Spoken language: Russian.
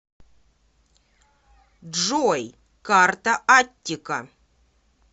джой карта аттика